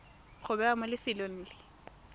go bewa mo lefelong le